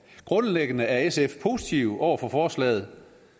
grundlæggende er sf positive over for forslaget